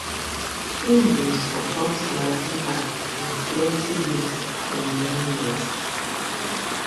im [steyn] bin support madiba in plenty ways for many years